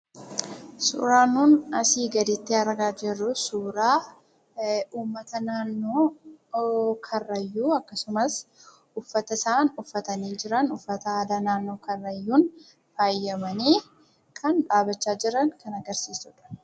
Suuraan asii gaditti argaa jirru suuraa uummata naannoo Karrayyuu, akkasumas uffata isaan uffatanii jiran uffata aadaa naannoo Karrayyuun faayamanii kan dhaabbachaa jiran kan agarsiisudha.